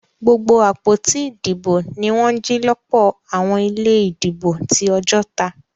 Gbogbo àpótí ìdìbò ní wọn jì lọpọ àwọn ilé ìdìbò tí Ojota